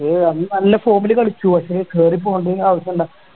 അന്ന് നല്ല form ല് കളിച്ചു പക്ഷേ കേറി പോകേണ്ട ആവശ്യം എന്താ